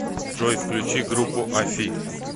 джой включи группу афи